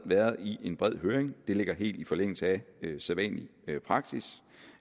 været i i bred høring det ligger helt i forlængelse af sædvanlig praksis